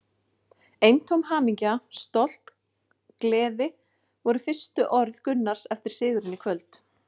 Eintóm hamingja, stolt, gleði voru fyrstu orð Gunnars eftir sigurinn í kvöld.